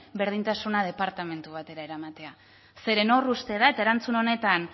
berdintasuna departamentu batera eramatea zeren hor uste da eta erantzun honetan